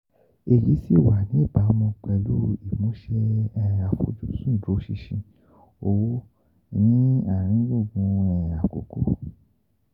Èyí sì wà níbàámu pẹ̀lú ìmúṣẹ àfojúsùn ìdúróṣinṣin owó ní àárín gbùngbùn àkókò.